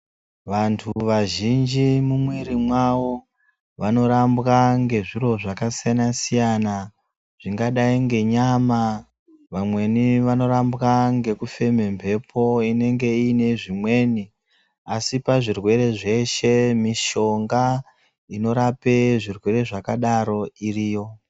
Vantu vazhinji mumwiri mavo vanorambwa nezviro zvakasiyana siyana zvingadai ngenyama vamweni vanorambwa ngekufema mhepo inenge iine zvimweni asi nezvirwere zveshe mishonga inorapa zvirwere zvakadaro kirito.